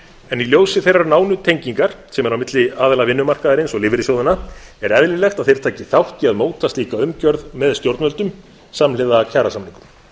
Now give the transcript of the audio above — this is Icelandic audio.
en í ljósi þeirrar nánu tengingar sem er milli aðila vinnumarkaðarins og lífeyrissjóðanna er eðlilegt að þeir taki þátt í að móta slíka umgjörð með stjórnvöldum samhliða kjarasamningum